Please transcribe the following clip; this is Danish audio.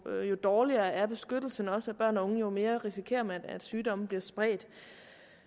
dårligere er beskyttelsen også af børn og unge og jo mere risikerer man at sygdomme bliver spredt